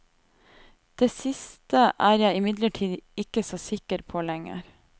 Det siste er jeg imidlertid ikke så sikker på lenger.